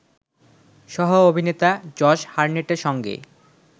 সহ-অভিনেতা Josh হারনেটের সঙ্গে